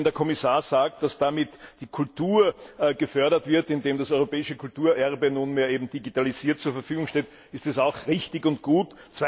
Wenn der Kommissar sagt, dass damit die Kultur gefördert wird, indem das europäische Kulturerbe nunmehr eben digitalisiert zur Verfügung steht, ist es auch richtig und gut.